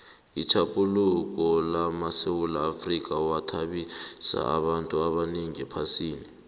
itjhaphuluko lamasewula afrika yathabisa abantu abanengi ephasini